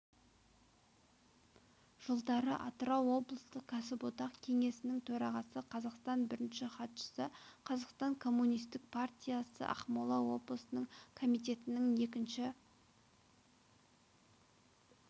жылдары атырауоблыстық кәсіподақ кеңесінің төрағасы қазақстан бірінші хатшысы қазақстан коммунистік партиясы ақмола облыстық комитетінің екінші